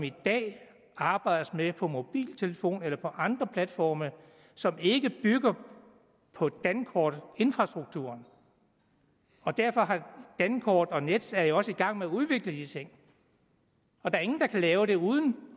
i dag arbejdes med på mobiltelefonområdet eller på andre platforme som ikke bygger på dankortets infrastruktur og derfor er dankortet og nets jo også i gang med at udvikle de ting der er ingen der kan lave det uden